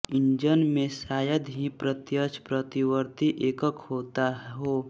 engine में शायद ही प्रत्यक्ष पतिवर्ती एकक होता हो